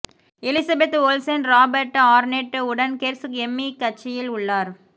Elizabeth Olsen Robert Arnett உடன் Gersh Emmy கட்சியில் உள்ளார்